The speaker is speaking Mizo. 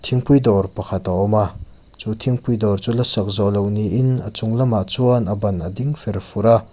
thingpui dawr pakhat a awm a chu thingpui dawr chu lasak zawhloh niin a chung lamah chuan a ban ading fer fur a.